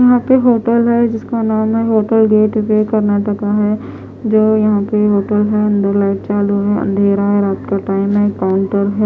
यहाँ पर होटल है जिसका नाम है होटल गेट कर्नाटक है जो यहाँ पे होटल है अंदर लाइट चालू है अंधेरा है रात का टाइम है काउंटर है।